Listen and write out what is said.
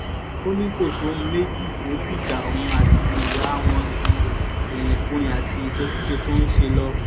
ó ní kò sóhun méjì tó dìjà òun àti ìyá wọn ju irinkurin àti ìṣekúṣe tó ń ṣe lọ